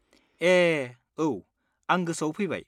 ए, औ। आं गोसोआव फैबाय।